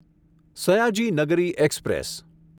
Sayaji Nagari express